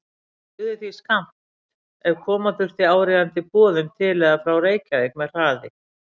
Það dugði því skammt, ef koma þurfti áríðandi boðum til eða frá Reykjavík með hraði.